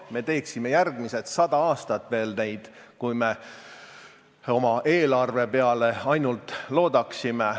Me teeksime neid veel järgmised 100 aastat, kui me ainult oma eelarve peale loodaksime.